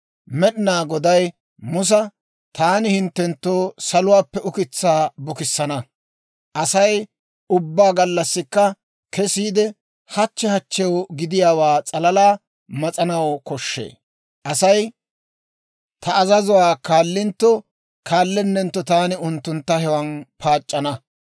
Med'inaa Goday Musa, «Taani hinttenttoo saluwaappe ukitsaa bukissana; Asay ubbaa gallassikka kesiide, hachche hachchew gidiyaawaa s'alalaa mas'anaw koshshee. Asay ta azazuwaa kaalintto kaalenentto taani unttuntta hewaan paac'c'ana.